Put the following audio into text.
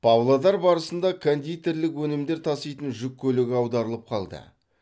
павлодар облысында кондитерлік өнімдер таситын жүк көлігі аударылып қалды